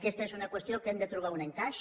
aquesta és una qüestió que hi hem de trobar un encaix